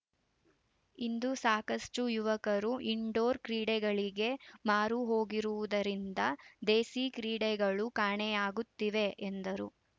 ಇಂದು ಸಾಕಷ್ಟುಯುವಕರು ಇನ್‌ಡೋರ್‌ ಕ್ರೀಡೆಗಳಿಗೆ ಮಾರುಹೋಗಿರುವುದರಿಂದ ದೇಸಿ ಕ್ರೀಡೆಗಳು ಕಾಣೆಯಾಗುತ್ತಿವೆ ಎಂದರು